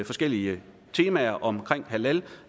forskellige temaer omkring halal